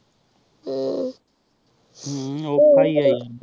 ਹਮ੍ਮ੍ਮ੍ਮ ਔਖਾ ਹੀ ਆਹ